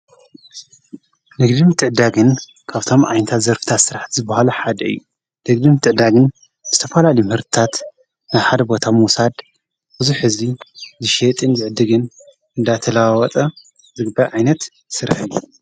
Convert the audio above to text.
ነግድም ጥእዳግን ካብቶም ዓይንታት ዘርፍታ ሥራሕ ዝብሃሉ ሓድ እዩ ነግድም ጥቕዳግን ስተፈላሊምህርታት ናሓደ ቦታ ምዉሳድ ብዙኅ ሕቢ ዝሸጥን ይዕድግን እንዳተላወጠ ዝግበ ኣይነት ሥረሀይ እዩ።